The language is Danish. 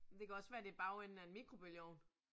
Det kan også være det bagenden af en mikrobølgeovn